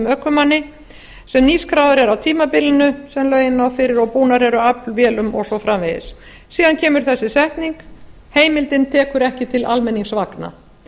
ökumanni sem nýskráðar er á tímabilinu sennilega og búnar eru aflvélum og svo framvegis síðan kemur þessi setning heimildin tekur ekki til almenningsvagna